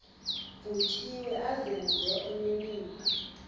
vuthiwe azenze onenimba